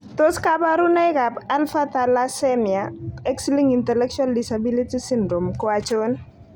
Tos kabarunoik ab Alpha thalassemia x linked intellectual disability syndrome ko achon?